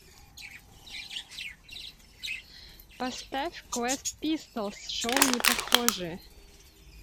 поставь квест пистолс шоу непохожие